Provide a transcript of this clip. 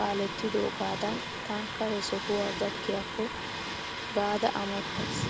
kaalettidogaadan taanikkaa he sohuwa gakkiyaakko gaada amottayiis.